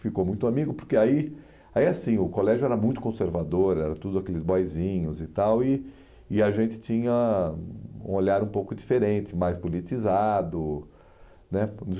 Ficou muito amigo, porque aí, ai assim, o colégio era muito conservador, era tudo aqueles boyzinhos e tal, e e a gente tinha um olhar um pouco diferente, mais politizado, né?